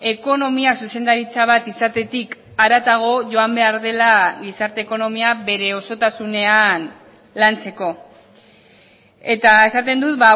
ekonomia zuzendaritza bat izatetik haratago joan behar dela gizarte ekonomia bere osotasunean lantzeko eta esaten dut